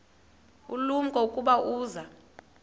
ulumko ukuba uza